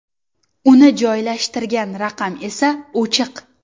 Uni joylashtirgan raqam esa o‘chiq.